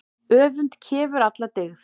Öfund kefur alla dyggð.